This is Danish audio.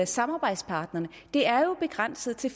samarbejdspartnerne det er jo begrænset til